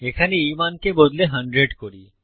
এখানে এই মানকে বদলে 100 করি